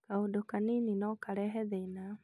kaũndũ kanini nokarehe thĩna